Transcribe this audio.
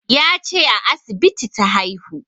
Ya ce a asibiti ta haihu